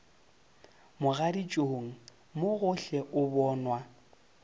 mogaditšong mo gohle o bonwa